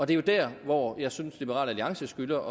det er jo der hvor jeg synes at liberal alliance skylder